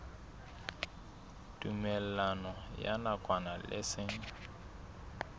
tumellano ya nakwana le seng